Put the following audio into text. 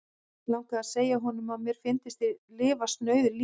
Langaði að segja honum, að mér fyndist ég lifa snauðu lífi.